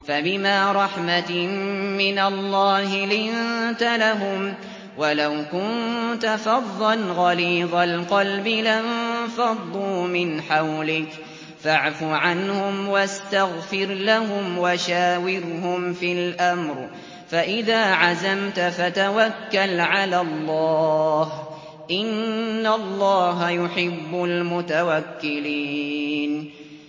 فَبِمَا رَحْمَةٍ مِّنَ اللَّهِ لِنتَ لَهُمْ ۖ وَلَوْ كُنتَ فَظًّا غَلِيظَ الْقَلْبِ لَانفَضُّوا مِنْ حَوْلِكَ ۖ فَاعْفُ عَنْهُمْ وَاسْتَغْفِرْ لَهُمْ وَشَاوِرْهُمْ فِي الْأَمْرِ ۖ فَإِذَا عَزَمْتَ فَتَوَكَّلْ عَلَى اللَّهِ ۚ إِنَّ اللَّهَ يُحِبُّ الْمُتَوَكِّلِينَ